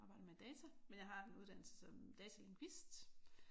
Jeg arbejder med data men jeg har en uddannelse som datalingvist